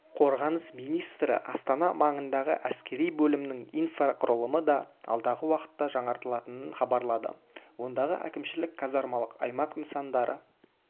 қорғаныс министрі астана маңындағы әскери бөлімінің инфрақұрылымы да алдағы уақытта жаңартылатынын хабарлады ондағы әкімшілік-казармалық аймақ нысандары